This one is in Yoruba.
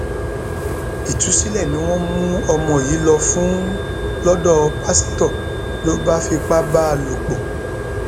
ìtúsílẹ ni wọn mú ọmọ yìí lọ fún lọdọ pásítọ ló bá ń fipá bá a lò pọ